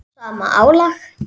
sama álag?